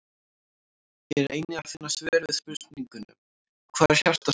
Hér er einnig að finna svör við spurningunum: Hvað er hjartað stórt?